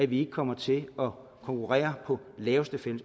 vi ikke kommer til at konkurrere på laveste